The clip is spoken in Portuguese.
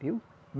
Viu?